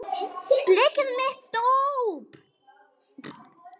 Blekið er mitt dóp.